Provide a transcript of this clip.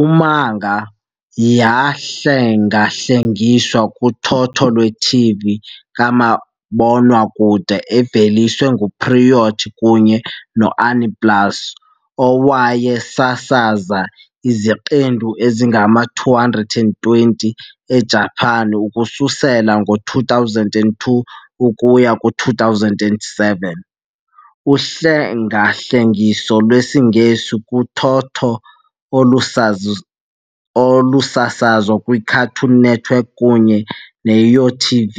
U-manga yahlengahlengiswa kuthotho lwe-TV kamabonwakude eveliswe nguPierrot kunye no-Aniplex, owayesasaza iziqendu ezingama-220 eJapan ukususela ngo-2002 ukuya ku-2007, uhlengahlengiso lwesiNgesi kuthotho olusazi olusasazwe kwiCartoon Network kunye neYTV